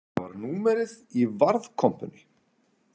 Þetta var númerið í varðkompunni.